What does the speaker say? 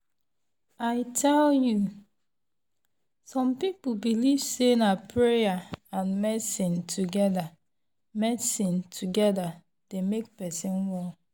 i tell you! some people believe say na prayer and medicine together medicine together dey make person well.